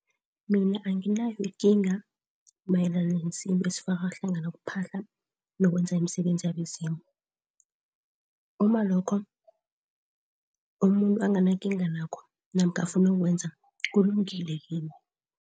Mina anginayo ikinga mayelana nesintu esifaka hlangana ukuphahla nokwenza imisebenzi yabezimu. Umalokho umuntu anginakinga nakho namkha afuna ukukwenza kulungile kimi.